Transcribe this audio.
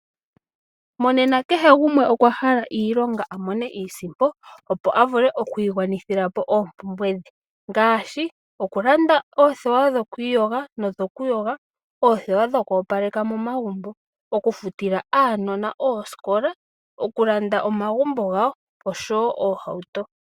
Monena kehe gumwe okwa hala iilonga a mone iisimpo opo a vule okwiigwanithila po oompumbwe dhe. Ngaashi okulanda oothewa dhoku iyoga nodho kuyoga, oothewa dhoku opaleka momagumbo, okufutila aanona oosikola, okulanda omagumbo gawo oshowo oohauto.